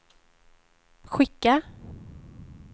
skicka